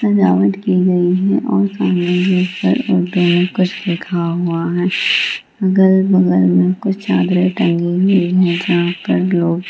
सजावट की गयी है और सामने उर्दू में कुछ लिखा हुआ है | अगल-बगल मे कुछ चादरे टंगी हुई है जहाँ पर लोग --